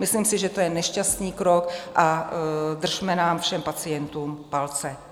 Myslím si, že to je nešťastný krok, a držme nám všem pacientům palce.